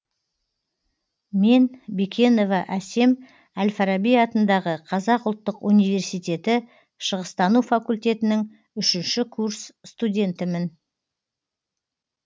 мен бекенова асем әл фараби атындағы қазақ ұлттық университеті шығыстану факультетінің үшінші курс стундетімін